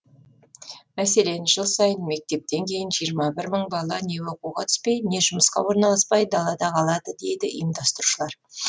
мәселен жыл сайын мектептен кейін жиырма бір мың бала не оқуға түспей не жұмысқа орналаспай далада қалады дейді ұйымдастырушылар